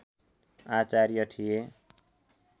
आचार्य थिए